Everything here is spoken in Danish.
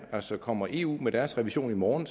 altså kommer eu med deres revision i morgen